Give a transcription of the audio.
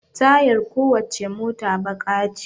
Tayar ko wacce mota baƙa ce